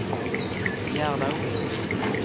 Gerda Ohlsson